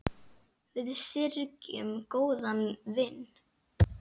Við syrgjum góðan vin.